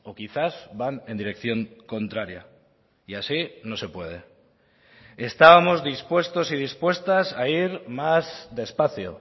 quizás van en dirección contraria y así no se puede estábamos dispuestos y dispuestas a ir más despacio